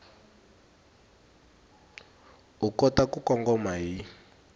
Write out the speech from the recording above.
u kota ku kongoma hi